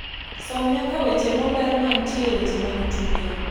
som nyaka weche moler mantie , weche mag tuke